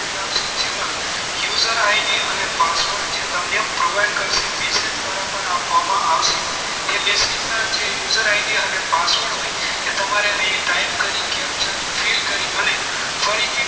User id અને password તમને જે provide કરશે message દ્વારા પણ આ ફોર્મ આવશે એ message ના જે user id અને password હોય એ તમારે અહીં type કરી capture fill કરી અને ફરી થી